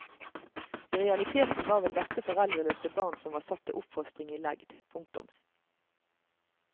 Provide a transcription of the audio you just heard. I realiteten var vel dette foreldreløse barn som var satt til oppfostring i legd. punktum